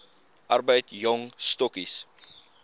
arbeid jong stokkies